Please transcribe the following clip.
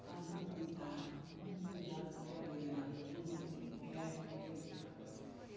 Está num cuidado, num cuidado, porque a mulherada, a turma, tudo quer quer os cara.